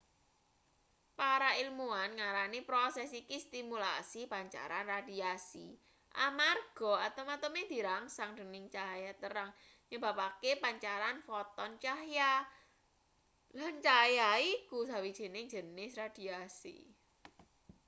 para ilmuan ngarani proses iki stimulasi pancaran radiasi amarga atom-atome dirangsang dening cahya terang nyebabake pancaran foton cahya lan cahya iku sawijining jenis radiasi